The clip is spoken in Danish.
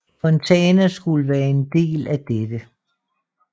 Fontana skulle være en del af dette